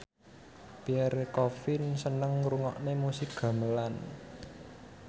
Pierre Coffin seneng ngrungokne musik gamelan